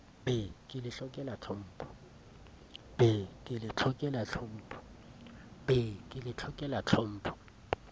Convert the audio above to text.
be ke le hlokela tlhompho